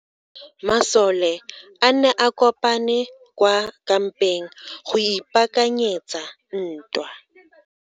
Masole a ne a kopane kwa kampeng go ipaakanyetsa ntwa.